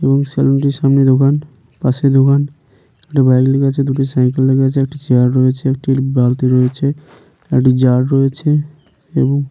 এবং সেলুন - টি সামনে দোকান পাশে দোকান একটি বাইক লেগে আছে দুটি সাইকেল লেগে আছে একটি চেয়ার রয়েছে একটি বালতি রয়েছে একটি জার রয়েছে এবং।